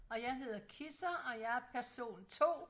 Jeg hedder Kisser og jeg er person 2